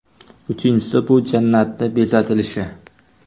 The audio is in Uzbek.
Uchinchisi: bu jannatning bezatilishi.